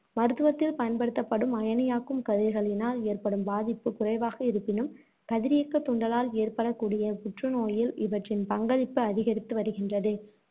மருத்துவத்தில் பயன்படுத்தப்படும் அயனியாக்கும் கதிர்களினால் ஏற்படும் பாதிப்புக் குறைவாக இருப்பினும், கதிரியக்கத் தூண்டலால் ஏற்படக்கூடிய புற்றுநோயில் இவற்றின் பங்களிப்பு அதிகரித்து வருகின்றது.